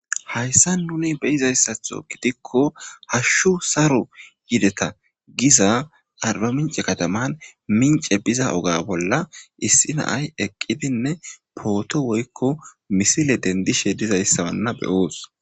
hayssa nuni beyizayssatho gidikko hashshu saro yideta giza arba mince kataman mince biza oga bolla issi naay eqqidinne pooto woykko misile dendishe dizayssawanna beyoos